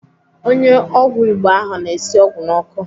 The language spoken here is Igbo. Onye ọgwụ Igbo ahụ na-esi ọgwụ n'ọkụ.